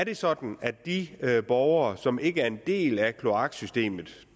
er sådan at de borgere som ikke er en del af kloaksystemet